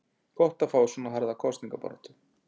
Gott að fá svona harða kosningabaráttu.